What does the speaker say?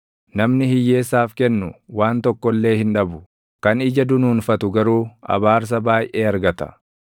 Namni hiyyeessaaf kennu waan tokko illee hin dhabu; kan ija dunuunfatu garuu abaarsa baayʼee argata.